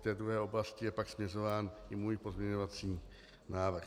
K té druhé oblasti je pak směrován i můj pozměňovací návrh.